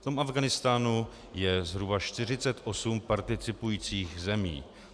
V tom Afghánistánu je zhruba 48 participujících zemí.